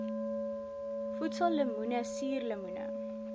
voedsel lemoene suurlemoene